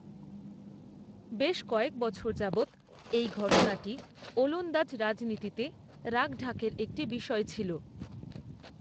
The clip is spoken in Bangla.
বেশ কয়েক বছর যাবৎ এই ঘটনাটি ওলন্দাজ রাজনীতিতে রাখঢাকের একটি বিষয় ছিল।